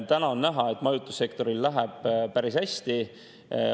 Täna on näha, et majutussektoril läheb päris hästi.